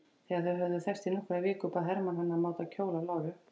Þegar þau höfðu þekkst í nokkrar vikur bað Hermann hana að máta kjól af láru.